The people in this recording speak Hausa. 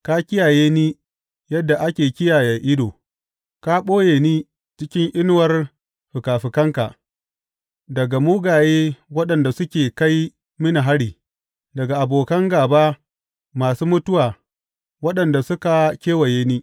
Ka kiyaye ni yadda ake kiyaye ido; ka ɓoye ni cikin inuwar fikafikanka daga mugaye waɗanda suke kai mini hari, daga abokan gāba masu mutuwa waɗanda suka kewaye ni.